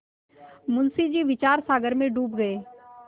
मुंशी जी विचारसागर में डूब गये